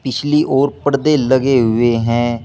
इसलिए और पर्दे लगे हुए हैं।